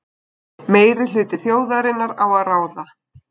Meirihluti þjóðarinnar á að ráða.